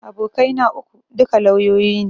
Abokai na uku, duka lauyoyi ne